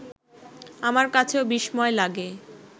আমার কাছেও বিস্ময় লাগে